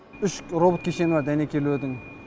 үш робот кешені бар дәнекерлеудің